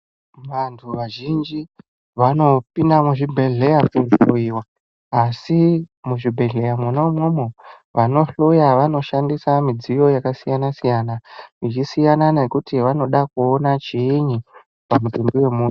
Vantu vazhinji vanopinda muzvibhedhlera kohloiwa asi muzvibhedhlera Mona imomo vanohloya vanoshandisa midziyo yakasiyana siyana ichisiyana kuti vanoda kuona chinyi pamutumbi wemunhu.